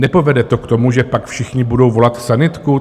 Nepovede to k tomu, že pak všichni budou volat sanitku?